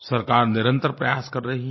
सरकार निरंतर प्रयास कर रही है